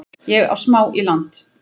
Ég á smá í land